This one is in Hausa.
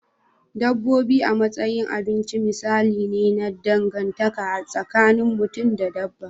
Dabbobi a matsayin abinci misali ne na dangantaka tsakin mutum da dabba.